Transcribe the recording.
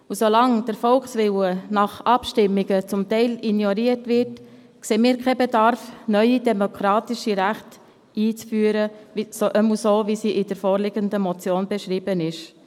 Solange der Volkswille nach Abstimmungen teilweise ignoriert wird, sehen wir keinen Bedarf, neue demokratische Rechte einzuführen, jedenfalls nicht so, wie sie in der vorliegenden Motion beschrieben werden.